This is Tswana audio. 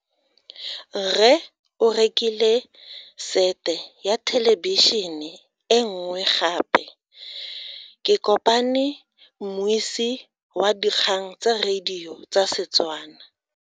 Rre o rekile sete ya thelebišene nngwe gape. Ke kopane mmuisi wa dikgang tsa radio tsa Setswana.